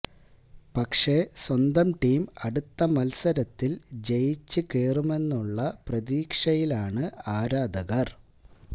പക്ഷെ സ്വന്തം ടീം അടുത്ത മത്സരത്തിൽ ജയിച്ച് കേറുമെന്നുള്ള പ്രതീക്ഷയിലാണ് ആരാധകർ